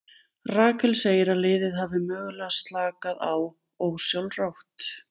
Rakel segir að liðið hafi mögulega slakað á ósjálfrátt.